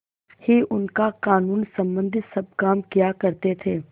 ही उनका कानूनसम्बन्धी सब काम किया करते थे